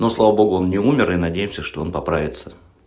ну слава богу он не умер и надеемся что он поправится